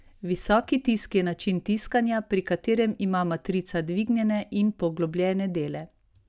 Visoki tisk je način tiskanja, pri katerem ima matrica dvignjene in poglobljene dele.